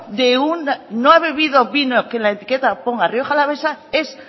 que en la etiqueta ponga rioja alavesa es